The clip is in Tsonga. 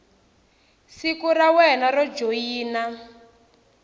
siku ra wena ro joyina